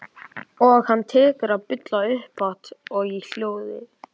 Og hann tekur að bulla upphátt og í hljóði.